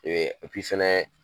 Ɛɛ fana